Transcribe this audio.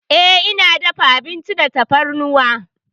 Eh, ina dafa abinci da tafarnuwa.